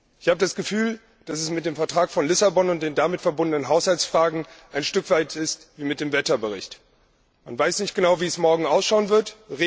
Ich habe das Gefühl, dass es mit dem Vertrag von Lissabon und den damit verbundenen Haushaltsfragen ein Stück weit ist wie mit dem Wetterbericht Man weiß nicht genau, wie es morgen ausschauen wird.